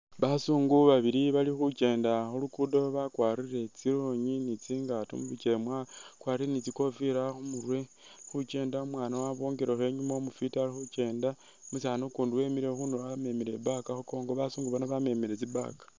Basungu babili bali khukyendela khulugudo bakwarile tsilon ni tsingato bali ni tsikofila khumurwe balikhukyenda umwaana wabongikekho umufiti inyuma alikhukyenda, umusani ukundi wemile khundulo wamemile i'bag khunkongo, basungu bano bamemile tsi' bag